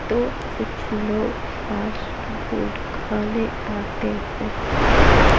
तो कुछ लोग फास्ट फूड खाने आते हैं।